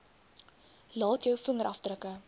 laat jou vingerafdrukke